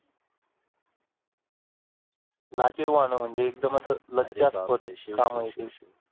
लाजिरवाणं म्हणजे एक्दम असं लज्जास्पद काम आहे ते. अरे बाप रे शिव शिव शिव.